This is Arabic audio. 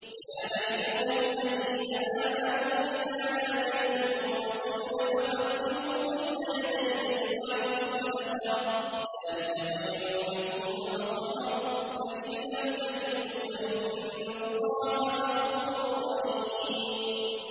يَا أَيُّهَا الَّذِينَ آمَنُوا إِذَا نَاجَيْتُمُ الرَّسُولَ فَقَدِّمُوا بَيْنَ يَدَيْ نَجْوَاكُمْ صَدَقَةً ۚ ذَٰلِكَ خَيْرٌ لَّكُمْ وَأَطْهَرُ ۚ فَإِن لَّمْ تَجِدُوا فَإِنَّ اللَّهَ غَفُورٌ رَّحِيمٌ